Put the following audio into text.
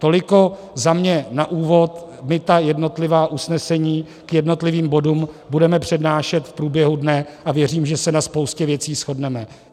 Toliko za mě na úvod, my ta jednotlivá usnesení k jednotlivým bodům budeme přednášet v průběhu dne a věřím, že se na spoustě věcí shodneme.